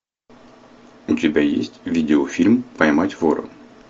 у тебя есть видеофильм поймать вора